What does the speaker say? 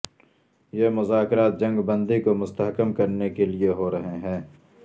یہ مذاکرات جنگ بندی کو مستحکم کرنے کےلیے ہو رہے ہیں